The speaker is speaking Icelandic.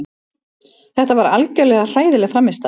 Þetta var algjörlega hræðileg frammistaða.